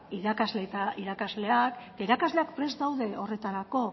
irakasle eta irakasleak irakasleak prest daude horretarako